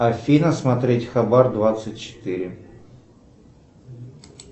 афина смотреть хабар двадцать четыре